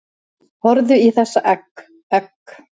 Horfðu í þessa egg, egg